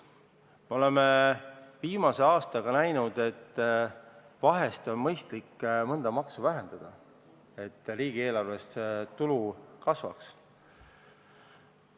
Me oleme viimase aastaga näinud, et vahest on mõistlik mõnda maksu vähendada, et riigieelarves tulu kasvaks.